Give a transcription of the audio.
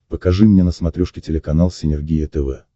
покажи мне на смотрешке телеканал синергия тв